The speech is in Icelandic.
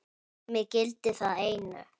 Mig gildir það einu.